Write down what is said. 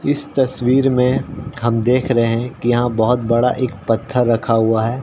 इस तस्वीर में हम देख रहे है कि यहाँ बहुत बड़ा एक पत्थर रखा हुआ है।